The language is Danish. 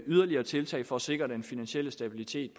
yderligere tiltag for at sikre den finansielle stabilitet